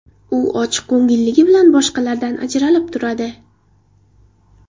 U ochiq ko‘ngilliligi bilan boshqalardan ajralib turadi.